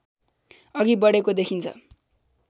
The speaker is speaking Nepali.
अघि बढेको देखिन्छ